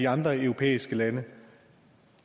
andre europæiske lande